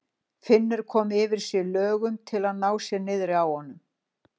Finnur koma yfir sig löngun til að ná sér niðri á honum.